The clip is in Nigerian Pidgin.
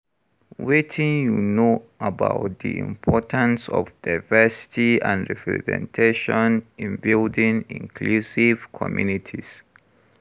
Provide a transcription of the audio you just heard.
Wetin you know about di importance of diversity and representation in building inclusive communities?